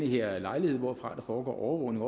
her lejlighed hvorfra der foregår overvågning